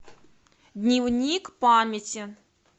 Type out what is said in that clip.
дневник памяти